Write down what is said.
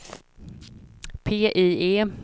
PIE